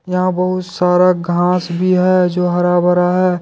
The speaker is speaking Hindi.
यहां बहू सारा घांस भी है जो हरा भरा है।